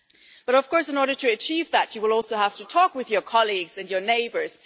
But of course in order to achieve that, you will also have to talk with your colleagues and your neighbours.